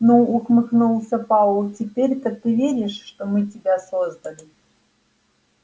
ну ухмыльнулся пауэлл теперь-то ты веришь что мы тебя создали